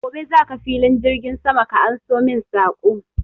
Gobe za ka filin jirgin sama ka anso min saƙo!